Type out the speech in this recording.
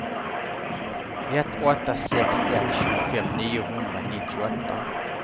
ett åtta sex ett tjugofem niohundranittioåtta